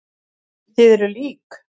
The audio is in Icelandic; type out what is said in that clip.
Þið eruð lík.